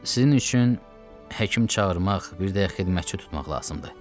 Sizin üçün həkim çağırmaq, bir də qulluqçu tutmaq lazımdır.